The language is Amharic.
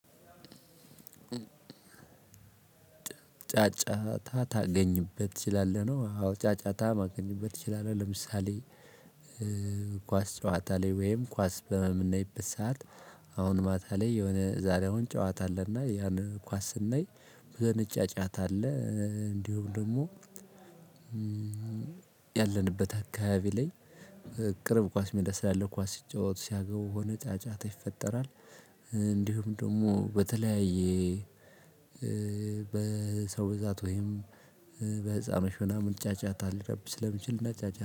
ጫጫታ ታገኝበት ትችላለህ ነው። አዎ ጫጫታ ማገኘበት ትችላለህ። ለምሳሌ ኳስ ጨዋታ ላይ ወይም ኳስ በምናይበት ሰዓት። አሁን ማታ ላይ የሆነ ዛሬ አሁን ጨዋታ አለና ያን ኳስ ስናይ ብዙ አይነት ጫጫታ አለ። እንዲሁም ደግሞ። ያለንበት አካባቢ ላይ። ቅርብ ኳስ ሜዳ ስላለ ኳስ ሲጫወቱ ሲያገቡ ሆነ ጫጫታ ይፈጠራል። እንዲሁም ደግሞ በተለያየ በሰው ብዛት ወይም በጼብሽ ምናምን ጫጫታ ሊረብሽ ስለሚችል